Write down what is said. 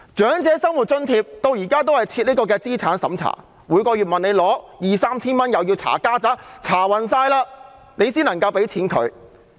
長者生活津貼至今仍設資產審查，每個月向政府領取兩三千元也要"查家宅"，要接受詳細審查後才能獲發津貼。